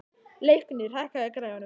Leiknir, hækkaðu í græjunum.